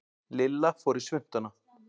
Lilla fór í svuntuna.